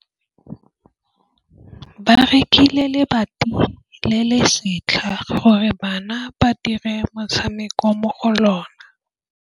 Ba rekile lebati le le setlha gore bana ba dire motshameko mo go lona.